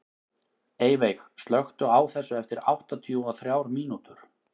Eyveig, slökktu á þessu eftir áttatíu og þrjár mínútur.